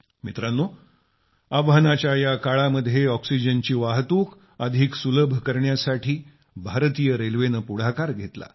मित्रांनो आव्हानाच्या या काळामध्ये ऑक्सिजनची वाहतूक अधिक सुलभ करण्यासाठी भारतीय रेल्वेनं पुढाकार घेतला